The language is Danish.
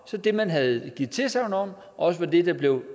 så det man havde givet tilsagn om også var det der blev